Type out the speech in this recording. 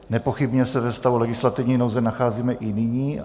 Nepochybně se ve stavu legislativní nouze nacházíme i nyní.